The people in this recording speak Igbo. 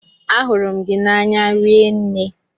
Ahụrụ m gị n'anya rinne.